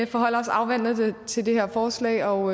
forholder os afventende til det her forslag og